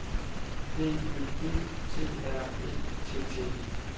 D Ø D T R Æ T T E